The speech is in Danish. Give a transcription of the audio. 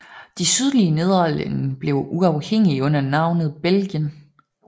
De sydlige Nederlande blev uafhængige under navnet Belgien